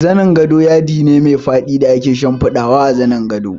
Zanin gado yadi ne mai faɗi da ake shimfiɗawa a saman gadaje